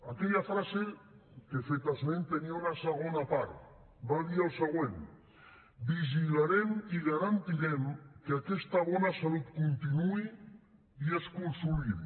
aquella frase de què he fet esment tenia una segona part va dir el següent vigilarem i garantirem que aquesta bona salut continuï i es consolidi